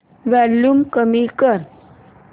volume कमी कर